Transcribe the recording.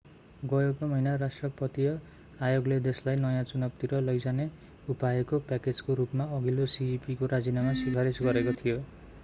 गएको महिना राष्ट्रपतिय आयोगले देशलाई नयाँ चुनावतिर लैजाने उपायको प्याकेजको रूपमा अघिल्लो cep को राजीनामा सिफारिस गरेको थियो